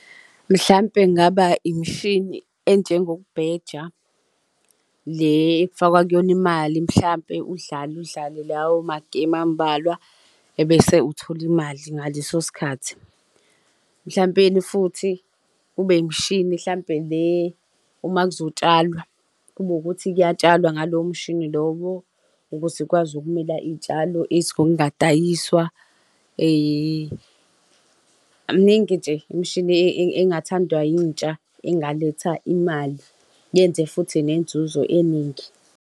Mhlampe kungaba imishini enjengokubheja le ekufakwa kuyona imali mhlampe udlale udlale lawo magemu ambalwa ebese uthola imali ngaleso sikhathi. Mhlawumpeni futhi kube imshini mhlawumpe le uma kuzotshalwa kube wukuthi kuyatshalwa ngalowo mshini lowo ukuze ukwazi ukumila izitshalo ezingisadayiswa miningi nje imishini engathandwa yintsha engaletha imali yenze futhi nenzuzo eningi.